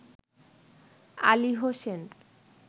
Ali Hossain